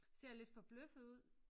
Ser lidt forbløffet ud